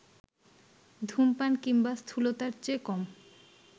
ধূমপান কিংবা স্থূলতার চেয়ে কম